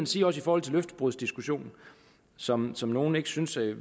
sige også i forhold til løftebrudsdiskussionen som som nogle synes vi